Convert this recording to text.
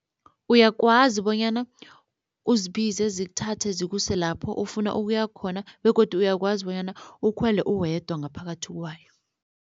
Uyakwazi bonyana uzibize zikuthathe zikuse lapho ofuna ukuya khona begodu uyakwazi bonyana ukhwele uwedwa ngaphakathi kwayo.